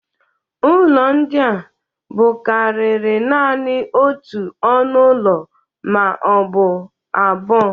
Ụlọ ndị a bụkariri nanị otu ọnụ ụlọ ma ọ bụ abụo.